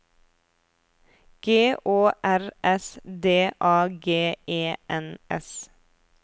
G Å R S D A G E N S